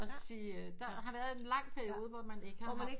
At sige der har været en lang periode hvor man ikke har haft